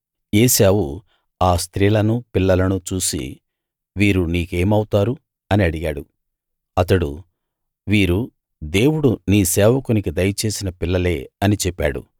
ఏశావు ఆ స్త్రీలనూ పిల్లలనూ చూసి వీరు నీకేమౌతారు అని అడిగాడు అతడు వీరు దేవుడు నీ సేవకునికి దయచేసిన పిల్లలే అని చెప్పాడు